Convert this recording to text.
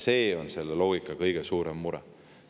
See on selle loogika kõige suurem mure.